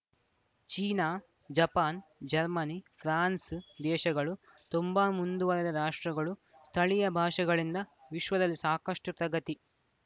China Japan Germany France ದೇಶಗಳು ತುಂಬಾ ಮುಂದುವರೆದ ರಾಷ್ಟ್ರಗಳು ಸ್ಥಳೀಯ ಭಾಷೆಗಳಿಂದ ವಿಶ್ವದಲ್ಲಿ ಸಾಕಷ್ಟುಪ್ರಗತಿ